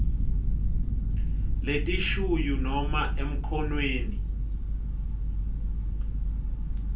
letishuyu nobe emkhonweni